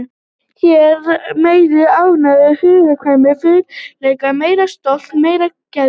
Það vantar meiri lífsgleði hér, meiri áræðni, hugkvæmni, frumleika, meira stolt, meiri geðprýði.